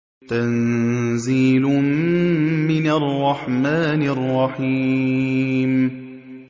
تَنزِيلٌ مِّنَ الرَّحْمَٰنِ الرَّحِيمِ